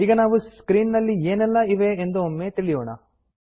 ಈಗ ನಾವು ಸ್ಕ್ರೀನ್ ನಲ್ಲಿ ಏನೆಲ್ಲಾ ಇವೆ ಎಂದು ಒಮ್ಮೆ ತಿಳಿಯೋಣ